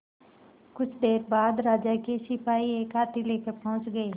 कुछ देर बाद राजा के सिपाही एक हाथी लेकर पहुंच गए